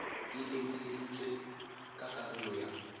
e emiseditswe ka karolo ya